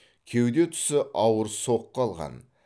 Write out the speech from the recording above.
кеуде тұсы ауыр соққы алған